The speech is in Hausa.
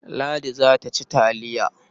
Ladi za ta ci taliya.